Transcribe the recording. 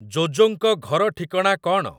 ଜୋ ଜୋଙ୍କ ଘର ଠିକଣା କଣ ?